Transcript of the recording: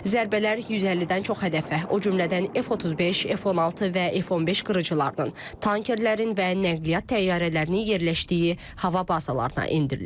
Zərbələr 150-dən çox hədəfə, o cümlədən F-35, F-16 və F-15 qırıcılarının, tankerlərin və nəqliyyat təyyarələrinin yerləşdiyi hava bazalarına endirilib.